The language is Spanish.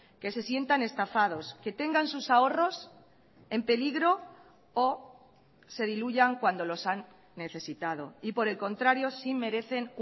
que se sientan estafados que tengan sus ahorros en peligro o se diluyan cuando los han necesitado y por el contrario sí merecen